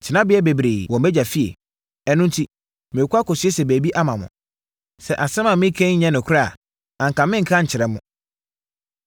Tenaberɛ bebree wɔ mʼAgya efie, ɛno enti, merekɔ akɔsiesie baabi ama mo. Sɛ asɛm a mereka yi nyɛ nokorɛ a, anka merenka nkyerɛ mo.